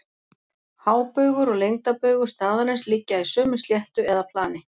Hábaugur og lengdarbaugur staðarins liggja í sömu sléttu eða plani.